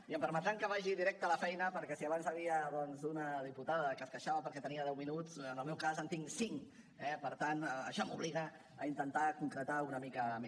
i em permetran que vagi directe a la feina perquè si abans hi havia doncs una diputada que es queixava perquè tenia deu minuts en el meu cas en tinc cinc eh per tant això m’obliga a intentar concretar una mica més